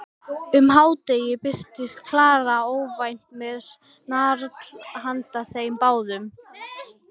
Um hádegisbil birtist Klara óvænt með snarl handa þeim báðum.